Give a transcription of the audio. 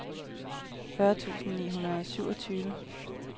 fyrre tusind ni hundrede og syvogtyve